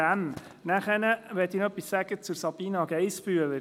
Ich möchte noch etwas zu Sabina Geissbühler sagen: